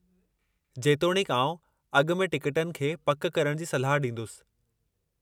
जेतोणीकि आउं अॻु में टिकटनि खे पक करण जी सलाह ॾींदुसि।